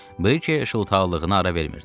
Brikey şıltaqlığına ara vermirdi.